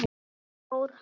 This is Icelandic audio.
Hvert fór hann?